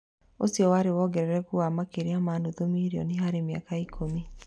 Ũcio warĩ wongerereku wa makĩria ma nuthu mirioni harĩ mĩaka ikũmi